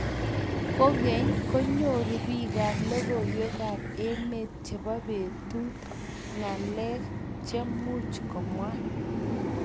kogeny, konyoru biikap logoiywekab emet chebo betut ngalek chemuch komwaa